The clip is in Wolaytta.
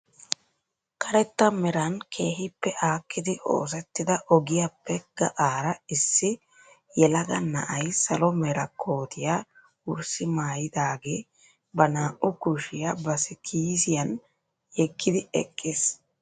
Karetta meran keehippe aakkidi oosettida ogiyaappe gaxaara issi yelagaa na'ay salo mera kootiyaa wurssi maayidaagee ba naa"u kushiyaa ba kisiyaan yeegidi eqqiis.